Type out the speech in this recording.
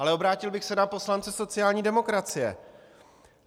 Ale obrátil bych se na poslance sociální demokracie.